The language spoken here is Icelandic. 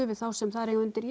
við þá sem þar eiga undir